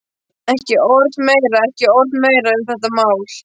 Ekki orð meira, ekki orð meira um þetta mál.